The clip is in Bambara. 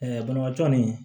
banabaatɔ nin